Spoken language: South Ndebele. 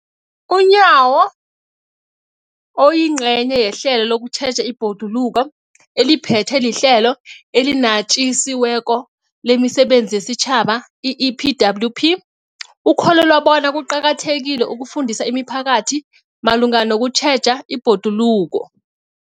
UNyawo, oyingcenye yehlelo lokutjheja ibhoduluko eliphethwe liHlelo eliNatjisi weko lemiSebenzi yesiTjhaba, i-EPWP, ukholelwa bona kuqakathekile ukufundisa imiphakathi malungana nokutjheja ibhoduluko.